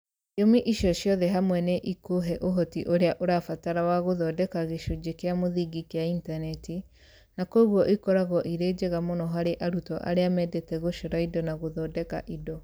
Thiomi icio ciothe hamwe nĩ ikũhe ũhoti ũrĩa ũrabatara wa gũthondeka gĩcunjĩ kĩa mũthingi kĩa intaneti -na kwoguo ikoragwo irĩ njega mũno harĩ arutwo arĩa mendete gũcora indo na gũthondeka indo.